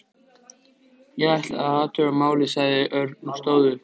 Ég ætla að athuga málið, sagði Örn og stóð upp.